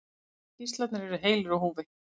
Allir gíslarnir eru heilir á húfi